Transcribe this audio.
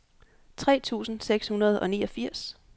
tre tusind seks hundrede og niogfirs